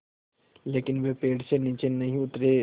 लेकिन वे पेड़ से नीचे नहीं उतरे